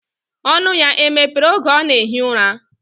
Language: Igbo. Onu ya emepere oge ona ehi ura?